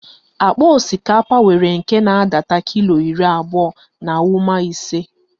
Akpa osikapa nwere nke na-adata kilo iri abụọ na ụma ise.